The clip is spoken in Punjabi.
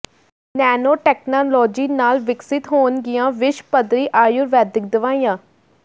ਨੈਨੋ ਟੈਕਨਾਲੋਜੀ ਨਾਲ ਵਿਕਸਿਤ ਹੋਣਗੀਆਂ ਵਿਸ਼ਵ ਪੱਧਰੀ ਆਯੁਰਵੈਦਿਕ ਦਵਾਈਆਂ